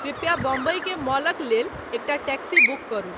कृप्या बॉम्बई के मॉलक लेल एकटा टैक्सी बुक करू